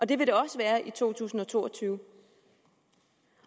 det vil det også være i to tusind og to og tyve